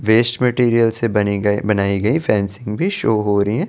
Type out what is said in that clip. Waste material से बनेगा बनाई गयी फेंसी शो हो रही है ।